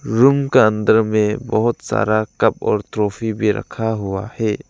Room का अंदर में बहोत सारा कप और ट्रॉफी भी रखा हुआ है।